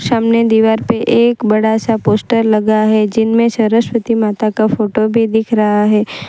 सामने दीवार पे एक बड़ा सा पोस्टर लगा है जिनमें सरस्वती माता का फोटो भी दिख रहा है।